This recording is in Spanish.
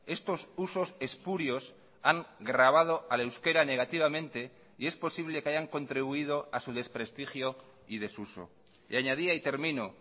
estos usos espurios han grabado al euskera negativamente y es posible que hayan contribuido a su desprestigio y desuso y añadía y termino